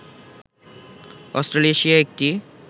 Australasia একটি